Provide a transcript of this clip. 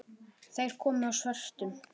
Þeir komu á svörtum